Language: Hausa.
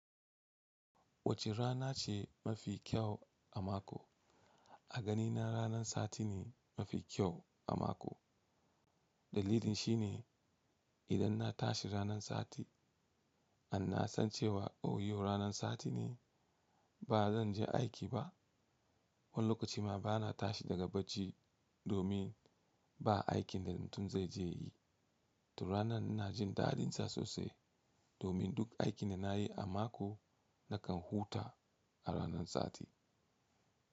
Wacce rana ce mafi kyau a mako? A ganina ranan sati ne, mafi kyau a mako. Dalilin shi ne idan na tashi ranan sati, an na san cewa yau ranan sati ne ba zan je aiki ba. Wani lokaci ma ba na tashi daga bacci, domin ba aikin da mutum zai je yi. To ranan na jin dadin sa sosai, domin duk aikin da na yi a mako na kan huta a ranan sati.